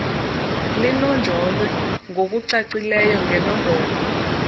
linonjolwe ngokucacileyo ngenombolo